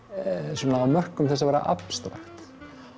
svona á mörkum þess að vera abstrakt